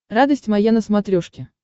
радость моя на смотрешке